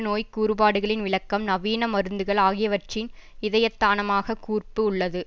நோய் கூறுபாடுகளின் விளக்கம் நவீன மருந்துகள் ஆகியவற்றின் இதயத்தானமாக கூர்ப்பு உள்ளது